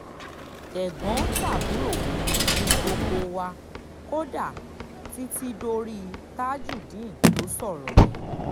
tẹ̀gbọ́n-tàbúrò ni gbogbo wa kódà títí dorí tajudeen tó sọ̀rọ̀ yẹn